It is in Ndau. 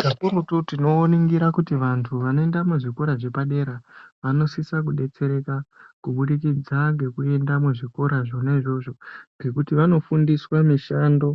Kakurutu tinoningira kuti vantu vanoenda muzvikora zvepadera vanosisa kubetsereka kubudikidza ngekuenda muzvikora zvona izvozvo ngekuti vanofundiswa mishando